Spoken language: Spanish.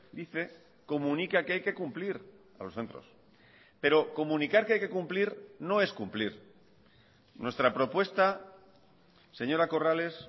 dice comunica que hay que cumplir a los centros pero comunicar que hay que cumplir no es cumplir nuestra propuesta señora corrales